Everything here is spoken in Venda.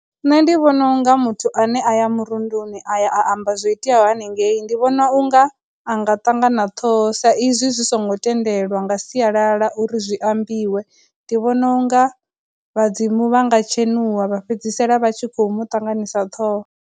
Nṋe ndi vhona unga muthu ane a ya murunduni a ya a amba zwo iteaho hanengei ndi vhona unga a nga ṱangana ṱhoho sa izwi zwi songo tendelwa nga sialala uri zwi ambiwe, ndi vhona unga vhadzimu vha nga tshenuwa vha fhedzisela vha tshi khou mu ṱanganisa ṱhoho.